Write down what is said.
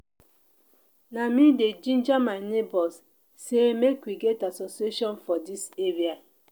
na me dey ginger my nebors sey make we get association for dis area.